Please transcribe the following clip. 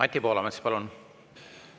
Anti Poolamets, palun!